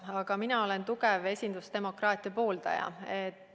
Aga mina olen tugev esindusdemokraatia pooldaja.